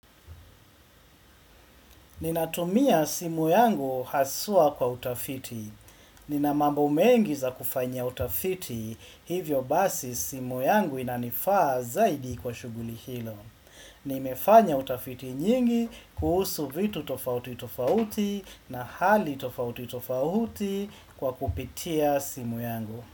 Ninatumia simu yangu haswa kwa utafiti. Nina mambo mengi za kufanya utafiti, hivyo basi simu yangu inanifaa zaidi kwa shughuli hilo. Nimefanya utafiti nyingi kuhusu vitu tofauti tofauti na hali tofauti tofauti kwa kupitia simu yangu.